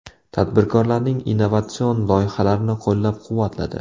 Tadbirkorlarning innovatsion loyihalarini qo‘llab-quvvatladi.